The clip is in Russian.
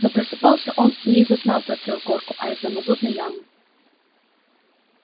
но просыпался он не из сна про трехгорку а из мазутной ямы